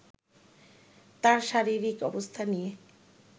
তাঁর শারীরিক অবস্থা নিয়ে